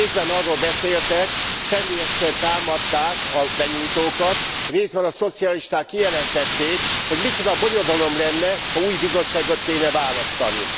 Részben arról beszéltek, személyesen támadták a benyújtókat, részben a szocialisták kijelentették, hogy micsoda bonyodalom lenne, ha új Bizottságot kellene választani.